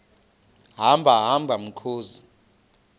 hamba hamba mkhozi